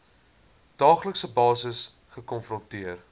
daaglikse basis gekonfronteer